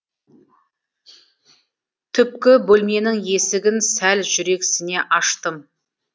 түпкі бөлменің есігін сәл жүрексіне аштым